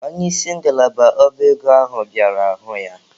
Onye isi ngalaba ọba ego ahụ bịara hụ ya.